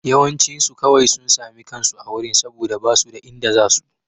Yawancinsu kawai sun sami kansu a wurin saboda ba su da inda za su.